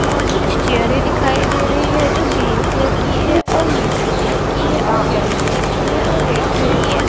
और कुछ चेयरें दिखाई दे रही है जो ग्रीन कलर की है और मिट्टी कलर की है और येलो कलर की है और रेड कलर की है।